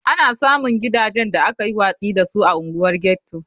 Ana samun gidajen da aka yi watsi da su a unguwar ghetto.